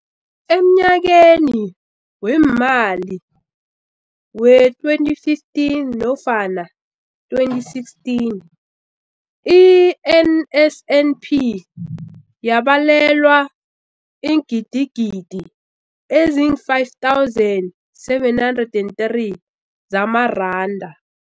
Emnyakeni weemali we-2015 nofana 2016, i-NSNP yabelwa iingidigidi ezi-5 703 zamaranda.